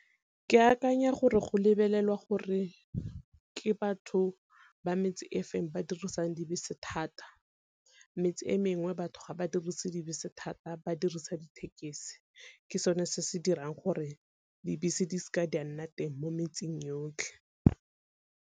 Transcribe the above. Ke akanya gore go lebelelwa gore ke batho ba metse efeng ba dirisang dibese thata, metse e mengwe batho ga ba dirise dibese thata ba dirisa dithekesi. Ke sone se se dirang gore dibese di seka di a nna teng mo metseng yotlhe.